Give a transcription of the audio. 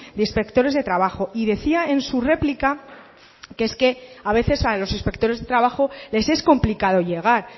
de inspectores de trabajo y decía en su réplica que es que a veces a los inspectores de trabajo les es complicado llegar